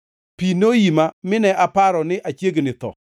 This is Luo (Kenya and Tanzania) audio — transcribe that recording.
pi noima mine aparo ni achiegni tho.